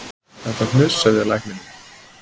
En það hnussaði í lækninum